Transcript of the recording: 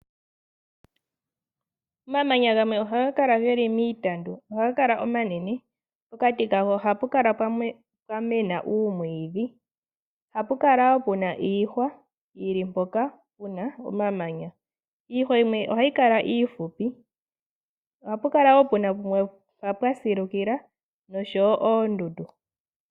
Omamanya gamwe ohaga kala geli miitandu ohaga kala omanene, pokati kago ohapu kala pwamena uumwiidhi. Ohapu kala wo puna iihwa yili mpoka puna omamanya. Iihwa yimwe ohayi kala iifupi. Ohapu kala wo puna pumwe mpa pwa silukila noshowo oondundu.